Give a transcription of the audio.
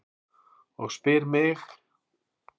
Og spyr mig: